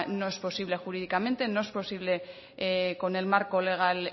no es posible jurídicamente no es posible con el marco legal